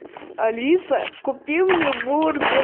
алиса купи мне бургер